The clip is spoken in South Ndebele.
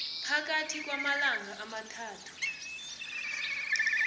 phakathi kwamalanga amathathu